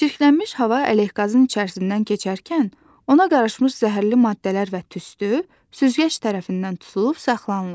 Çirklənmiş hava ələqazın içərisindən keçərkən ona qarışmış zəhərli maddələr və tüstü süzgəc tərəfindən tutulub saxlanılır.